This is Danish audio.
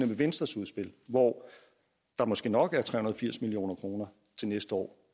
ved venstres udspil hvor der måske nok er tre hundrede og firs million kroner til næste år